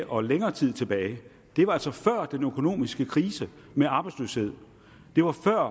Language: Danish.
og længere tid tilbage det var altså før den økonomiske krise med arbejdsløshed det var før